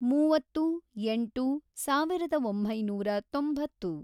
ಮೂವತ್ತು, ಎಂಟು, ಸಾವಿರದ ಒಂಬೈನೂರ ತೊಂಬತ್ತು